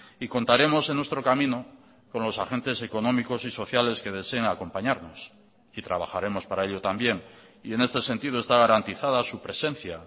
y contaremos en nuestro camino con los agentes económicos y sociales que deseen acompañarnos y trabajaremos para ello también y en este sentido está garantizada su presencia